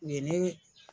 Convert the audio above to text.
U ye ne